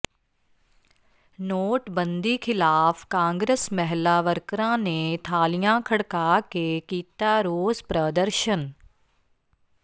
ਨੋਟਬੰਦੀ ਖਿਲਾਫ਼ ਕਾਂਗਰਸ ਮਹਿਲਾ ਵਰਕਰਾਂ ਨੇ ਥਾਲੀਆਂ ਖੜਕਾ ਕੇ ਕੀਤਾ ਰੋਸ ਪ੍ਰਦਰਸ਼ਨ